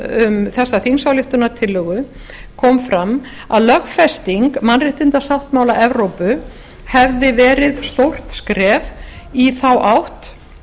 um þessa þingsályktunartillögu kom fram að lögfesting mannréttindasáttmála evrópu hefði verið stórt skref í þá átt